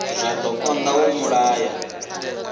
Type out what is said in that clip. zwa do konda uri mulayo